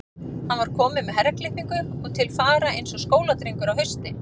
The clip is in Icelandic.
Hann var kominn með herraklippingu og til fara eins og skóladrengur á hausti.